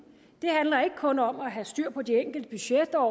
ikke kun handler om at have styr på de enkelte budgetår